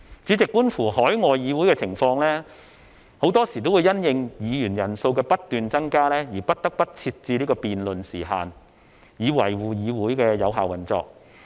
主席，觀乎海外議會的情況，很多時候也會因應議員人數的不斷增加而不得不設置辯論時限，以維護議會的有效運作。